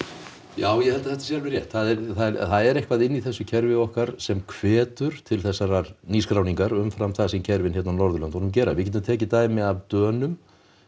já ég held að þetta sé alveg rétt það er eitthvað inni í þessu kerfi okkar sem hvetur til þessarar nýskráningar umfram það sem kerfin hérna á Norðurlöndunum gera við getum tekið dæmi af Dönum